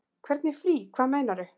Hvernig frí. hvað meinarðu?